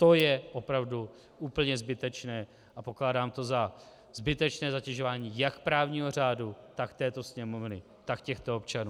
To je opravdu úplně zbytečné a pokládám to za zbytečné zatěžování jak právního řádu, tak této Sněmovny, tak těchto občanů.